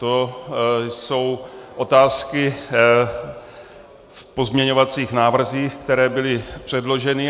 To jsou otázky v pozměňovacích návrzích, které byly předloženy.